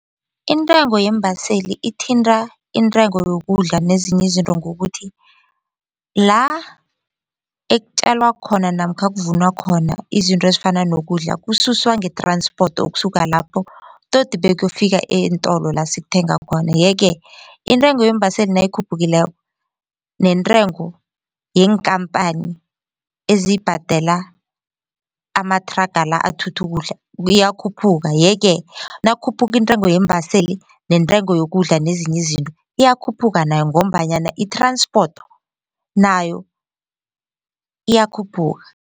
Intengo yeembaseli ithinta intengo yokudla nezinye izinto ngokuthi la ekutjalwa khona namkha kuvunwa khona izinto ezifana nokudla kususwa nge-transport ukusuka lapho todi bekuyofika eentolo la sikuthenga khona. Yeke iintengo yeembaseli nayikhuphukako neentengo yeenkhamphani ezibhadela amathraga la athutha ukudla iyakhuphuka, yeke nakukhuphuka iintengo yeembaseli nentengo yokudla nezinye izinto iyakhuphuka nayo ngombanyana i-transport nayo iyakhuphuka.